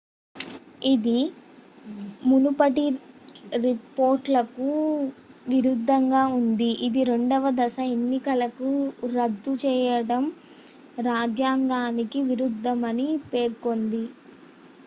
ఇది మునుపటి రిపోర్ట్లకు విరుద్ధంగా ఉంది ఇది రెండవ దశ ఎన్నికలను రద్దు చేయడం రాజ్యాంగానికి విరుద్ధమని పేర్కొంది